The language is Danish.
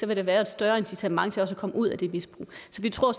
vil der være et større incitament til også at komme ud af det misbrug så vi tror